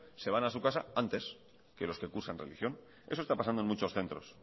se van a su casa antes que los que cursan religión eso está pasando en muchos centros